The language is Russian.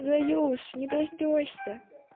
заюш не дождёшься